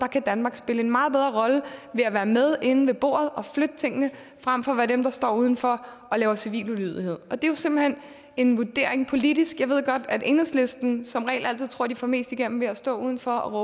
kan danmark spille en meget bedre rolle ved at være med inde ved bordet og flytte tingene frem for at være dem der står udenfor og laver civil ulydighed og det er jo simpelt hen en politisk vurdering jeg ved godt at enhedslisten som regel altid tror at de får mest igennem ved at stå udenfor og